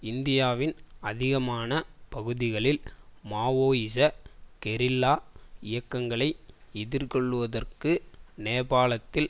இந்தியாவின் அதிகமான பகுதிகளில் மாவோயிச கெரில்லா இயக்கங்களை எதிர்கொள்ளுவதற்கு நேபாளத்தில்